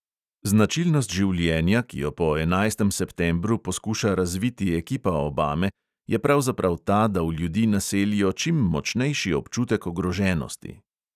Značilnost življenja, ki jo po enajstem septembru poskuša razviti ekipa obame, je pravzaprav ta, da v ljudi naselijo čim močnejši občutek ogroženosti.